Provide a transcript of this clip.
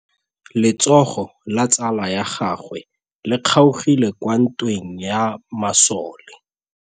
Letsôgô la tsala ya gagwe le kgaogile kwa ntweng ya masole.